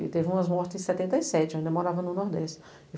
E teve umas mortes em setenta e sete, eu ainda morava no Nordeste.